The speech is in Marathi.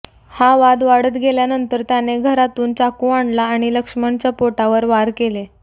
हा वाद वाढत गेल्यानंतर त्याने घरातून चाकू आणला आणि लक्ष्मणच्या पोटावर वार केले